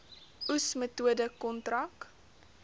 oes metode kontrak